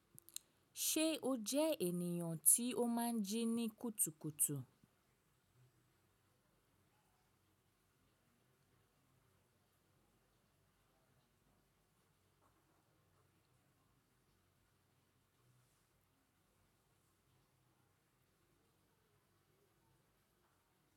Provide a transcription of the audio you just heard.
Ṣé o jẹ ènìyàn tí ó máa ń jí ní kùtùkùtù?